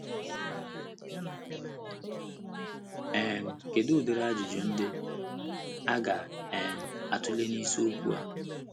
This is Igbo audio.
um Kedu udiri Ajụjụ ndị a ga - um atụle n’isiokwu a?